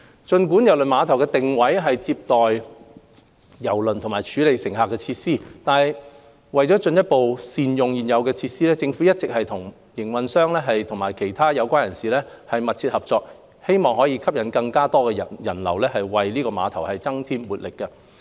儘管郵輪碼頭的定位是接待郵輪和處理乘客的設施，但為進一步善用現有的設施，政府一直與碼頭營運商和其他相關人士緊密合作，以吸引更多人流，為郵輪碼頭增添活力。